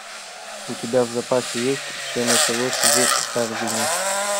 у тебя в запасе есть все началось в харбине